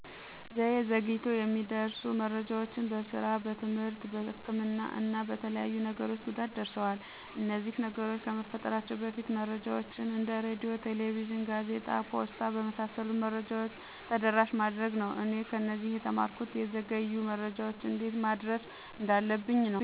ዘዬ ዘግይቶ የሚደርሱ መረጃዎች በስራ፣ በትምህርት፣ በህክምና እና በተለያዩ ነገሮች ጉዳት ደርሰዋል። እነዚህ ነገሮች ከመፈጠራቸው በፊት መረጃዎችን እንደ ሬድዮ፣ ቴሌቪዥን፣ ጋዜጣ፣ ፖስታ በመሣሠሉት መረጃዎች ተደራሽ ማድረግ ነው። እኔ ከነዚህ የተማርኩት የዘገዩ መረጃዎች እንዴት ማድረስ እንዳለብኝ ነዉ።